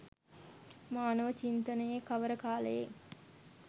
මානව චින්තනයේ කවර කාලයේ